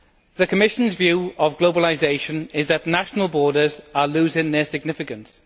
The Commission's view of globalisation is that national borders are losing their significance.